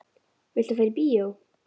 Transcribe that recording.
Viltu fara í bíó?